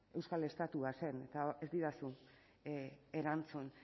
euskal estatua zen eta ez didazu erantzun